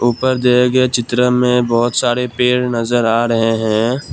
ऊपर दिये गए चित्र में बहुत सारे पेड़ नजर आ रहे हैं।